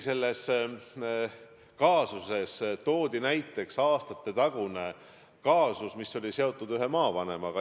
Selles kaasuses toodi isegi näiteks aastatetagune kaasus, mis oli seotud ühe maavanemaga.